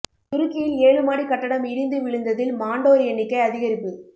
துருக்கியில் ஏழு மாடி கட்டடம் இடிந்து விழுந்ததில் மாண்டோர் எண்ணிக்கை அதிகரிப்பு